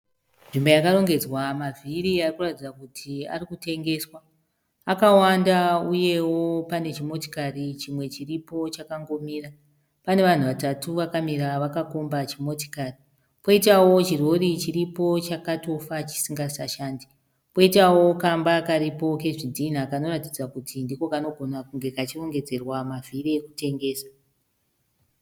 Nzvimbo yakarongedzwa mavhiri ari kuratidzwa kuti ari kutengeswa. Akawanda uyewo pane chimotikari chimwe chiripo chakangomira. Pane vanhu vatatu vakamira vakakomba chimotikari. Poitawo chirori chiripo chakatofa chisingasashandi, poitawo kamba karipo kezvidhinha kanoratidza kuti ndiko kanogona kunge kachirongedzerwa mavhiri ekutengesa.